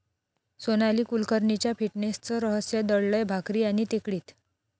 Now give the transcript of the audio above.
सोनाली कुलकर्णीच्या फिटनेसचं रहस्य दडलंय भाकरी आणि टेकडीत!